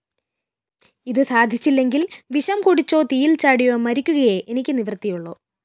ഇത് സാധിച്ചില്ലെങ്കില്‍ വിഷം കുടിച്ചോ തീയില്‍ച്ചാടിയോ മരിക്കുകയേ എനിക്ക് നിവൃത്തിയുള്ളൂ